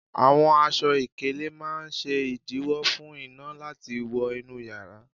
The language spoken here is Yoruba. Àwọn aṣọ ìkélé máa ń ṣe ìdiwọ̀ fún iná láti wó inú yara